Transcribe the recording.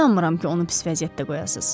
İnanmıram ki, onu pis vəziyyətdə qoyasız.